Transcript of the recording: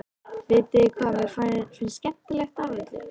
Vitiði hvað mér finnst skemmtilegast af öllu?